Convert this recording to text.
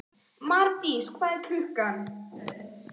Marís, hvað er klukkan?